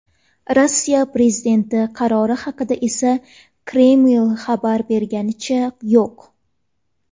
Rossiya prezidenti qarori haqida esa Kreml xabar berganicha yo‘q.